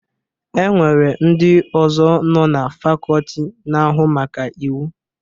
E nwere ndị ọzọ nọ na fakọọti na-ahụ maka Iwu.